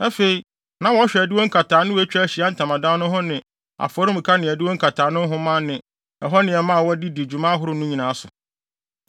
Afei, na wɔhwɛ adiwo nkataano a etwa Ahyiae Ntamadan no ho ne afɔremuka ne adiwo nkataano nhoma ne ɛhɔ nneɛma a wɔde di dwuma ahorow no nyinaa so.